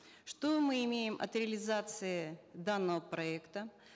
что мы имеем от реализации данного проекта